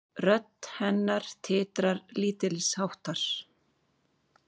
Rödd hennar titrar lítilsháttar.